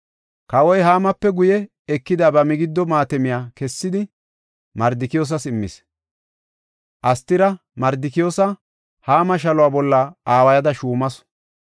Kawoy Haamape guye ekida ba migiddo maatamiya kessidi, Mardikiyoosas immis. Astira Mardikiyoosa Haama shaluwa bolla aawayada shuumasu.